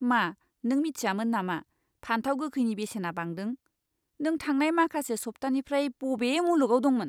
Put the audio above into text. मा नों मिथियामोन नामा फानथाव गोखैनि बेसेना बांदों? नों थांनाय माखासे सप्तानिफ्राय बबे मुलुगाव दंमोन?